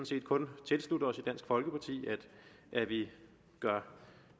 set kun tilslutte os i dansk folkeparti at vi gør